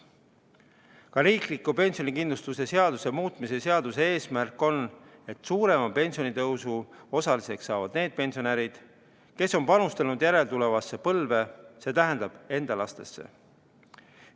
Ka riikliku pensionikindlustuse seaduse muutmise seaduse eesmärk on, et suurema pensionitõusu osaliseks saavad need pensionärid, kes on panustanud järeltulevasse põlve, st enda lastesse.